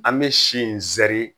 An bɛ si in sɛri